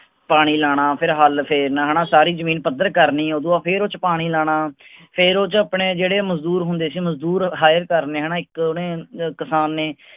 ਪਾਣੀ ਲੈਣਾ ਫੇਰ ਹਲ ਫੇਰਨਾ ਹੈਨਾ ਸਾਰੀ ਜਮੀਨ ਪੱਧਰ ਕਰਨੀ ਉਦੋਂ ਬਾਅਦ ਫੇਰ ਓਹਦੇ ਚ ਪਾਣੀ ਲਾਣਾ ਫੇਰ ਓਹਦੇ ਚ ਆਪਣੇ ਜਿਹੜੇ ਮਜਦੂਰ ਹੁੰਦੇ ਸੀ ਮਜਦੂਰ ਕਰਨੇ ਹੈਨਾ ਇੱਕ ਓਹਨੇ ਕਿਸਾਨ ਨੇ